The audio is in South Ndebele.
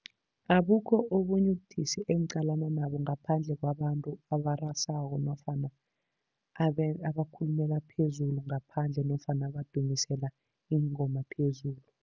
Abukho obunye ubudisi engiqalana nabo, ngaphandle kwabantu abarasako nofana abakhulumela phezulu ngaphandle nofana badumisela iingoma phezulu.